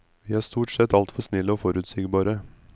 Vi er stort sett altfor snille og forutsigbare.